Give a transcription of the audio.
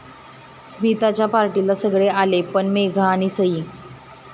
स्मिताच्या पार्टीला सगळे आले, पण मेघा आणि सई...